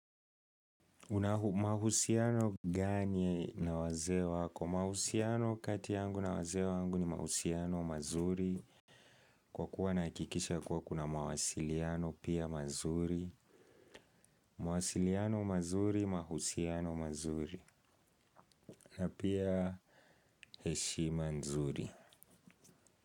Una mahusiano gani na wazee wako? Mahusiano kati yangu na wazee wangu ni mahusiano mazuri. Kwa kuwa nahakikisha kuwa kuna mawasiliano pia mazuri. Mawasiliano mazuri, mahusiano mazuri. Na pia heshima nzuri.